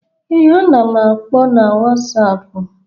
Ee, ana m akpọ n'wasapu.